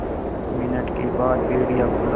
दस मिनट के बाद भेड़िया बोला